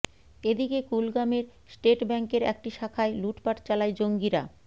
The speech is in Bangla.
এদিকে কুলগামের স্টেট ব্যাংকের একটি শাখায় লুটপাট চালায় জঙ্গিরা